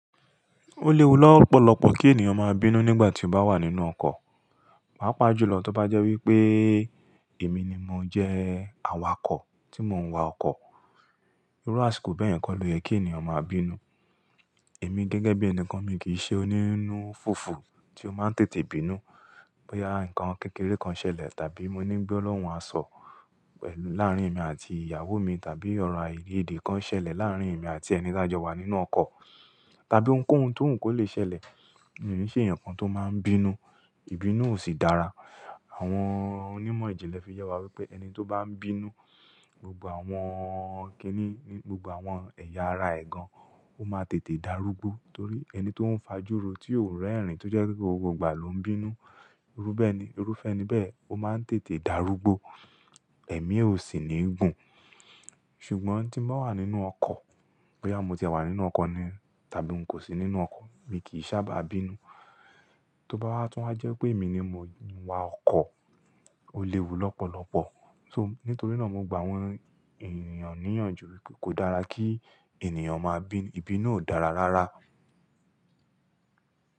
Ó léwu lọ́pọ̀lọpọ̀ kí ènìyàn máa bínú nígbà tí ó bá wà nínú ọkọ̀. Pàá pàjùlọ tó bá jẹ́ wí pé èmi ni mo jẹ́ awakọ̀ tí mò ń wa ọkọ̀. Irú àṣìkò bẹ́ẹ̀ kọ́ lo yẹ kí ènìyàn máa bínú. Èmi gẹ́gẹ́ bí ẹni kan, mi kì í ṣe onínú fùfù tí ó máa ń tètè bínú bóyá ǹkan kékeré kan ṣẹlẹ̀ tàbí mo ní gbolohun asọ pẹ̀lú láàárín èmi àti ìyàwó mi tàbí ọ̀rọ̀ aiyèdè kan ṣẹlẹ̀ láàárín èmi àti ẹni tó jọ wa nínú ọkọ̀, tàbí ohunkóhun tó ń kò lè ṣẹlẹ̀. Èmi kì í ṣe ǹkan tó máa ń bínú, ìbínú ò sì dára. Àwọn onímọ̀ ìjìnlẹ̀ fi yẹ wá wípé ẹni tó bá ń bínú, gbogbo àwọn kíní, gbogbo àwọn ẹ̀yà ara ẹ̀ gan, ó máa tètè darúgbó. Torí ẹni tó ń fajuro, tí ò ń rẹ́rìn-ín, tó jẹ́ pé gbogbo ìgbà ló ń bínú, irúfẹ́ ni bẹ́ẹ̀, ó máa ń tètè darúgbó. Ẹ̀mí e ò sì níí gùn. Ṣùgbọ́n tí mo wà nínú ọkọ̀, bóyá mo ti wà nínú ọkọ̀ ni tàbí n kò sí nínú ọkọ̀, mi kì í sábà bínú. Tó bá wá, tún a jẹ́ pé èmi ni mo ń wa ọkọ̀, ó léwu lọ́pọ̀lọpọ̀. So, nítorí náà mo gbà àwọn ènìyàn níyànjú wípé kò dára kí ènìyàn máa bínú, ìbínú ò dára rárá.